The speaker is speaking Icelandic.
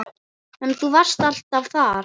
En þú varst alltaf þar.